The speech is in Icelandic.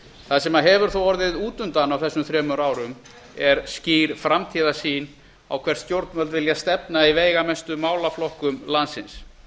það sem hefur þó orðið útundan á þessum þremur árum er skýr framtíðarsýn á hvert stjórnvöld vilja stefna í veigamestu málaflokkum landsins